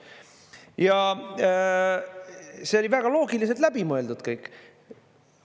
Ja see oli väga loogiliselt läbi mõeldud kõik.